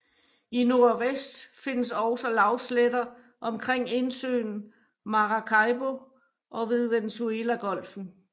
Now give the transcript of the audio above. I nordvest findes også lavsletter omkring indsøen Maracaibo og ved Venezuelagolfen